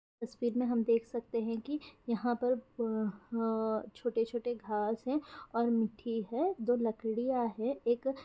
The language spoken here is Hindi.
इस फीड में हम देख सकते हैं कि यहाँ पर अ ह छोटे-छोटे घास हैं और मिट्ठी है दो लकड़ियाँ है एक --